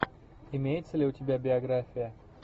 имеется ли у тебя биография